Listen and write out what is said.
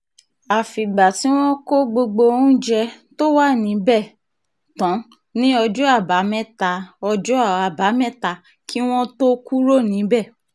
àfìgbà tí wọ́n kó gbogbo oúnjẹ tó wà níbẹ̀ tán ní ọjọ́ àbámẹ́ta ọjọ́ àbámẹ́ta kí wọ́n tóó kúrò níbẹ̀